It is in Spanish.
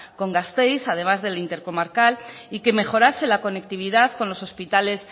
con gasteiz además del intercomarcal y que mejorase la conectividad con los hospitales